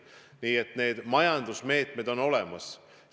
Nii et need majandusmeetmed on olemas.